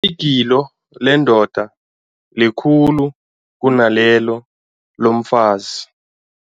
Igilo lendoda likhulu kunalelo lomfazi.